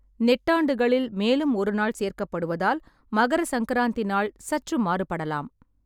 நெட்டாண்டுகளில் மேலும் ஒரு நாள் சேர்க்கப்படுவதால், மகர சங்கராந்தி நாள் சற்று மாறுபடலாம்.